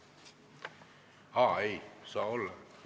Aa, ei saa olla.